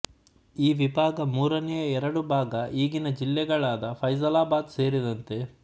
ಈ ವಿಭಾಗ ಮೂರನೆಯ ಎರಡು ಭಾಗ ಈಗಿನ ಜಿಲ್ಲೆಗಳಾದ ಫೈಸಲಾಬಾದ್ ಸೇರಿದಂತೆ